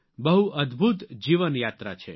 બહુ અદ્દભૂત જીવન યાત્રા છે